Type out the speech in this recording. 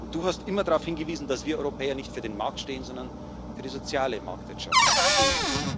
Du hast immer darauf hingewiesen, dass wir Europäer nicht für den Markt, sondern für die soziale Marktwirtschaft stehen.